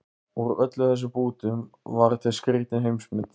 Úr öllum þessum bútum varð til skrýtin heimsmynd